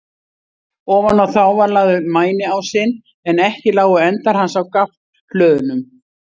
Ofan á þá var lagður mæniásinn, en ekki lágu endar hans á gaflhlöðunum.